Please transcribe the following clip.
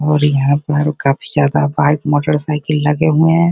और यहाँ पर काफी ज्यादा बाइक मोटर साइकिल लगे हुए हैं।